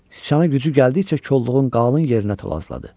Sıçana gücü gəldikcə kolluğun qalın yerinə tulasladı.